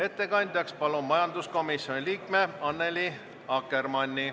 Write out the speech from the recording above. Ettekandjaks palun majanduskomisjoni liikme Annely Akkermanni.